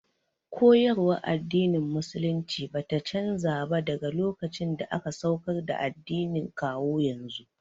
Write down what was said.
Koyarwar addinin musulunci bata canza ba daga lokacin da aka saukar da addinin kawo yanzu